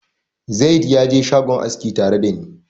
Zayid ya je shagon aski tare da ni.